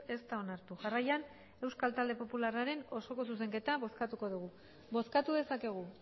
ez da onartu jarraian euskal talde popularraren osoko zuzenketa bozkatuko dugu bozkatu dezakegu